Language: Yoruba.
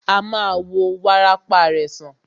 A ma wo wárápá rẹ̀ sàn.